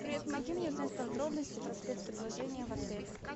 привет помоги мне узнать подробности про спецпредложения в отеле